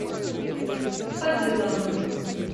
фазыловым